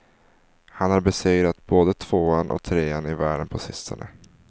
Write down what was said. Han har besegrat både tvåan och trean i världen på sistone.